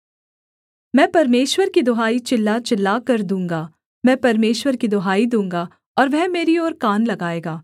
मैं परमेश्वर की दुहाई चिल्ला चिल्लाकर दूँगा मैं परमेश्वर की दुहाई दूँगा और वह मेरी ओर कान लगाएगा